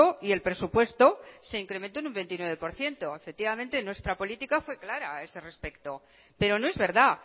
y el presupuesto se incrementó en un veintinueve por ciento efectivamente nuestra política fue clara a ese respecto pero no es verdad